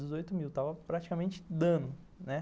Dezoito mil, estava praticamente dando, né?